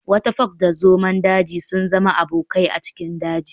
Wata fox da zomo daji sun zama abokai a cikin daji.